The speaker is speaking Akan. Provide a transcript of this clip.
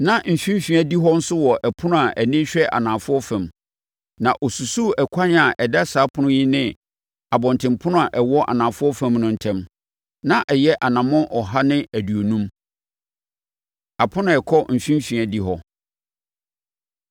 Na mfimfini adihɔ nso wɔ ɛpono a ani hwɛ anafoɔ fam, na ɔsusuu ɛkwan a ɛda saa ɛpono yi ne abɔntenpono a ɛwɔ anafoɔ fam no ntam; na ɛyɛ anammɔn ɔha ne aduonum. Apono A Ɛkɔ Mfimfini Adihɔ